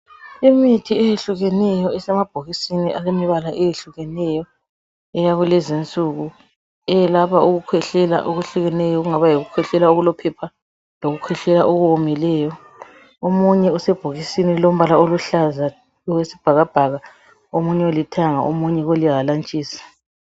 Imithi eyehlukeneyo isemabhokisini alemibala eyehlukeneyo eyakulezi nsuku. Eyelapha ukukhwehlela okwehlukeneyo, okungaba yikukhwehlela okulophepha lokukhwehlela okomileyo. Omunye usebhokisini elilombala oluhlaza oyisibhakabhaka omunye olithanga omunye olihalantshisi.